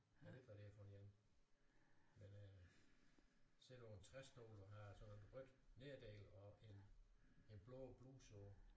Jeg ved ikke hvad det er for en men øh sidder på en træstol og har sådan noget rødt nederdel og en en blå bluse på